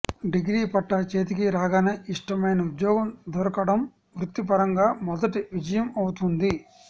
degree పట్టా చేతికి రాగానే ఇష్టమైన ఉద్యోగం దొరకడం వృత్తి పరంగా మొదటి విజయం అవుతుంది